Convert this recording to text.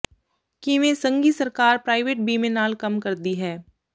ਕਿਵੇਂ ਸੰਘੀ ਸਰਕਾਰ ਪ੍ਰਾਈਵੇਟ ਬੀਮੇ ਨਾਲ ਕੰਮ ਕਰਦੀ ਹੈ